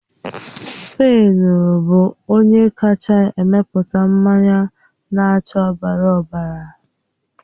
Spen bụ onye kacha emepụta mmanya na-acha ọbara ọbara.